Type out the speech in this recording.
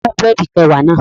Taló mú búrẹ̀dì kẹwàá náà?